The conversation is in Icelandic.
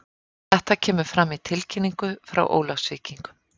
Þetta kemur fram í tilkynningu frá Ólafsvíkingum.